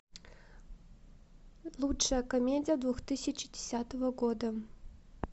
лучшая комедия две тысячи десятого года